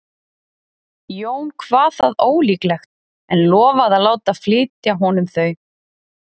Jón kvað það ólíklegt en lofaði að láta flytja honum þau.